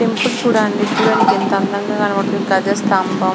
ఈ టెంపుల్ చూడ్డానికి ఎంత అందంగా ఉంది గజ స్థంభం --